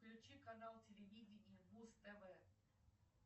включи канал телевидения муз тв